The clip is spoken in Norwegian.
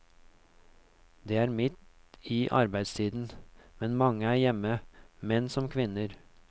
Det er midt i arbeidstiden, men mange er hjemme, menn som kvinner.